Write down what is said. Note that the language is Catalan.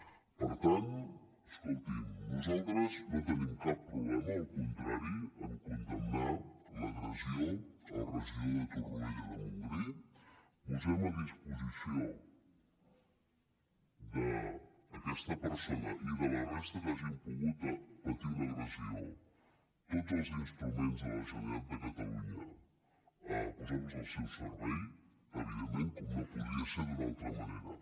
per tant escolti’m nosaltres no tenim cap problema al contrari a condemnar l’agressió al regidor de torroella de montgrí posem a disposició d’aquesta persona i de la resta que hagin pogut patir una agressió tots els instruments de la generalitat de catalunya al seu servei evidentment com no podria ser d’una altra manera